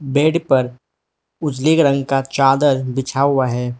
Bed पर उजले रंग का चादर बिछा हुआ हैं।